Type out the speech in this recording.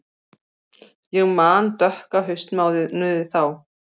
Ég man dökka haustmánuði þá.